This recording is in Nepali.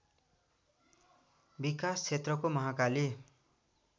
विकास क्षेत्रको महाकाली